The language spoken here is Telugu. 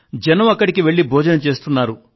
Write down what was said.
జనం అక్కడికి వెళ్ళి భోజనం చేస్తున్నారు